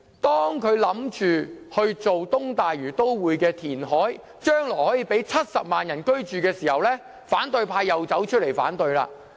當政府建議填海發展東大嶼都會，供70萬人日後居住時，反對派卻提出反對。